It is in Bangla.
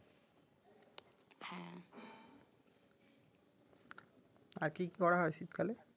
আর কি কি করা হয় শীতকালে